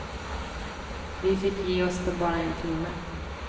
Vi fick ge oss med bara en timme.